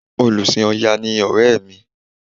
Olùsìn Ọya ni ọ̀rẹ́ mi